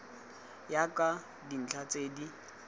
ya ka dintlha tse di